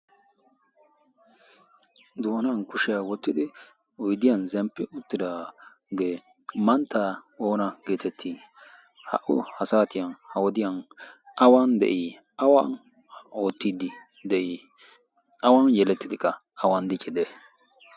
doonan kushiyaa wottidi oydiyan zemppi uttitaagee manttaa oona geetettii ha'u ha saatiyan ha wodiyan awan de'ii awan oottiddi de'ii awan yelettidi ka awan diciddee?